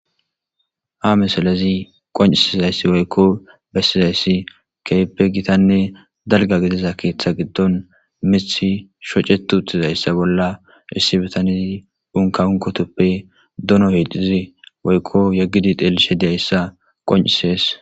Ha misiley qoncisizay woyko besishe de'iyaysi keehippe gitanne dalga gidiza keetha gidon mithi shoceti uttidaysa bolla issi bitaney unka unkotuppe dono getetiza woyko yegidi de'iyaysa qoncisidi de'es.